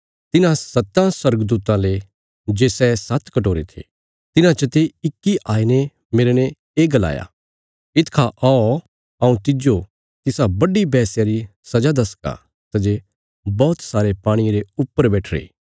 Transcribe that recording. तिन्हां सत्तां स्वर्गदूतां ले जे सै सात्त कटोरे थे तिन्हां चते इक्की आईने मेरने ये गलाया इतखा औ हऊँ तिज्जो तिसा बड्डी वेश्या री सजा दसगा सै जे बौहत सारे पाणिये रे ऊपर बैठीरी